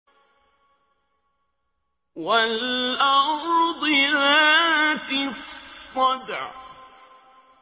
وَالْأَرْضِ ذَاتِ الصَّدْعِ